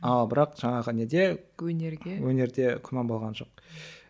а бірақ жаңағы неде өнерде өнерде күмән болған жоқ